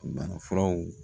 Banafuraw